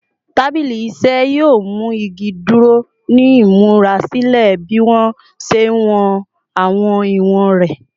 Tabili iṣẹ yoo mu igi duro ni imurasilẹ bi mo ṣe wọn awọn iwọn rẹ